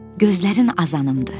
Gözlərin azanımdır.